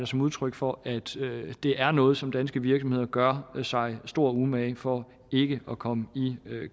som udtryk for at det er noget som danske virksomheder gør sig stor umage for ikke at komme i